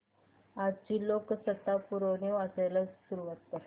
आजची लोकसत्ता पुरवणी वाचायला सुरुवात कर